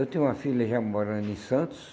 Eu tenho uma filha já morando em Santos.